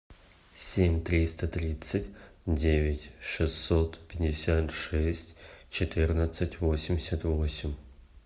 семь триста тридцать девять шестьсот пятьдесят шесть четырнадцать восемьдесят восемь